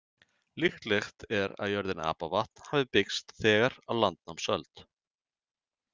Líklegt er að jörðin Apavatn hafi byggst þegar á landnámsöld.